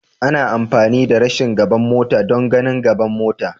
Ana amfani da gashin gaban mota don ganin gaban mota.